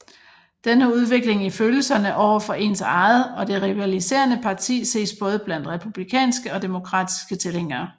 Denne udvikling i følelserne over for ens eget og det rivaliserende parti ses både blandt republikanske og demokratiske tilhængere